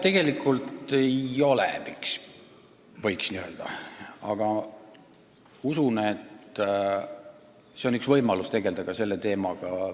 Tegelikult ei ole, aga usun, et see on üks võimalus tegelda ka selle teemaga.